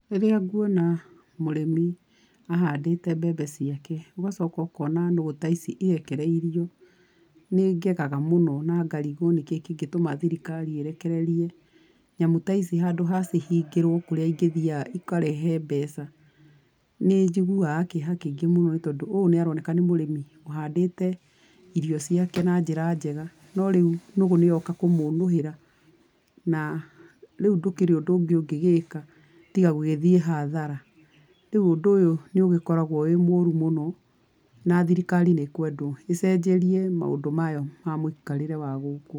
Rĩrĩa nguona mũrĩmi ahandĩte mbembe ciake, ũgacoka ũkona nũgũ ta ici irekereirio, nĩ ngegaga mũno na ngarigũo nĩ kĩngĩtũma thirikari ĩrekererie, nyamũ ta ici handũ ha ihingĩrwo kũrĩa ingĩthiaga ikarehe mbeca. Nĩ njiguaga kĩeha kĩingi mũno tondũ ũyũ nĩ aroneka nĩ mũrĩmi ũhandĩte irio ciake na njĩra njega, no rĩu nũgũ nĩ yoka kũmũũnũhĩra, na rĩu ndũkĩrĩ ũndũ ũngĩ ũngĩgĩka tiga gũgĩthiĩ hathara. Rĩu ũndũ ũyũ nĩ ũgĩkoragwo wĩ mũru muno na thirikari ĩkwendwo ĩcenjerie maũndũ maya ma mũikarĩre wa gũkũ.